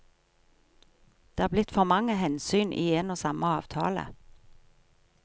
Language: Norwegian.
Det er blitt for mange hensyn i en og samme avtale.